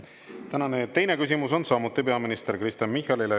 Tänane teine küsimus on samuti peaminister Kristen Michalile.